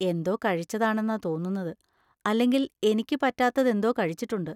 എന്തോ കഴിച്ചതാണെന്നാ തോന്നുന്നത്, അല്ലെങ്കിൽ എനിക്ക് പറ്റാത്തതെന്തോ കഴിച്ചിട്ടുണ്ട്.